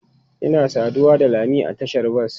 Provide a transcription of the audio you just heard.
Ina saduwa da lami a tashar bas.